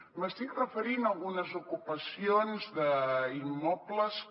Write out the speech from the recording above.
m’estic referint a algunes ocupacions d’immobles que